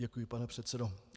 Děkuji, pane předsedo.